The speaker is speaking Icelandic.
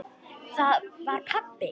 Það var pabbi!